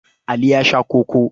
Ali ya sha koko.